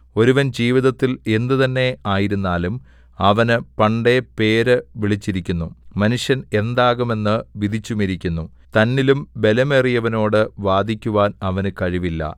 ഒരുവൻ ജീവിതത്തിൽ എന്ത് തന്നെ ആയിരുന്നാലും അവന് പണ്ടേ പേര് വിളിച്ചിരിക്കുന്നു മനുഷ്യൻ എന്താകും എന്ന് വിധിച്ചുമിരിക്കുന്നു തന്നിലും ബലമേറിയവനോടു വാദിക്കുവാൻ അവന് കഴിവില്ല